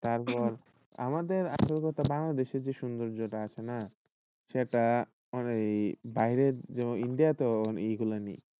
তারপর আমাদের আসল কথা বাংলাদেশের যে সৌন্দর্যটা আছে না সেটা এই বাইরের India তেও এগুলা নেই।